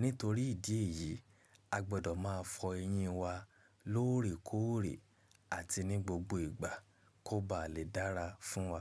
Nítorí ìdí èyí, a gbọ́dọ̀ máa fọ eyín wa lóòrèkóòrè àti ní gbogbo ìgbà kó ba lè dára fún wa.